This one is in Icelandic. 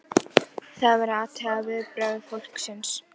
Með aldrinum missir einnig augasteinninn getu sína að brjóta ljósgeislana.